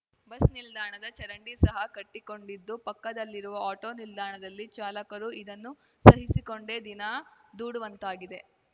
bus ನಿಲ್ದಾಣದ ಚರಂಡಿ ಸಹ ಕಟ್ಟಿಕೊಂಡಿದ್ದು ಪಕ್ಕದಲ್ಲಿರುವ ಆಟೋ ನಿಲ್ದಾಣದಲ್ಲಿ ಚಾಲಕರು ಇದನ್ನು ಸಹಿಸಿಕೊಂಡೇ ದಿನ ದೂಡುವಂತಾಗಿದೆ